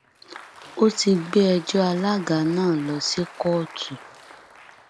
a ti gbé ẹjọ alága náà lọ sí kóòtù